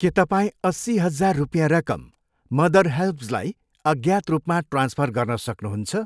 के तपाईँ अस्सी हजार रुपियाँ रकम मदर हेल्प्जलाई अज्ञात रूपमा ट्रान्सफर गर्न सक्नुहुन्छ ?